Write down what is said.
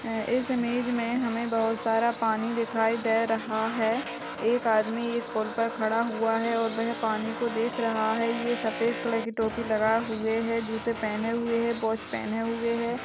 इस इमेज में हमें बहुत सारा पानी दिखाई दे रहा है एक आदमी एक पुल पर खड़ा हुआ है और वह पानी को देख रहा है ये सफेद कलर की टोपी लगा हुए है जूते पहने हुए हे वॉच पहने हुए हे।